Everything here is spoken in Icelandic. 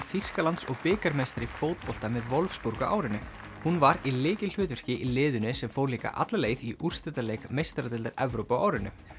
Þýskalands og bikarmeistari í fótbolta með Wolfsburg á árinu hún var í lykilhlutverki í liðinu sem fór líka alla leið í úrslitaleik meistaradeildar Evrópu á árinu